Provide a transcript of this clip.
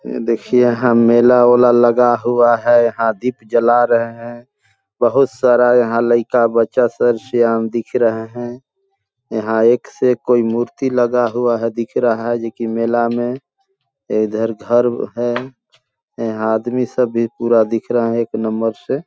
ये देखिये यहाँ मेला-उला लगा हुआ है यहाँ दीप जला रहे है बहुत सारा यहाँ लइका बच्चा सर सियान दिख रहे है यहाँ एक से एक कोई मूर्ति लगा हुआ है दिख रहा है जोकि मेला में इधर घर है यहाँ आदमी सब भी पूरा दिख रहा है एक नंबर से --